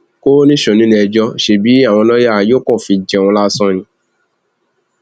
kò níṣó níléẹjọ ṣebí àwọn lọọyà yóò kàn fi í jẹun lásán ni